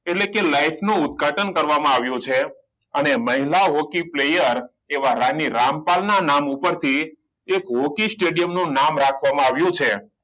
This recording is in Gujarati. એટલે કે life નું ઉદ્ઘાટન કરવામાં આવ્યું છે અને મહિલા hockey player એવા રામી રામપાલ ના નામ પર થી એક hockey stadium નું નામ રાખવામાં આવ્યું છે